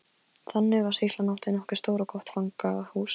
Þannig var að sýslan átti nokkuð stórt og gott fangahús.